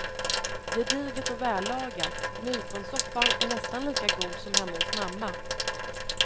Gediget och vällagat, nyponsoppan är nästan lika god som hemma hos mamma.